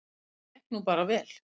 Það gekk nú bara vel.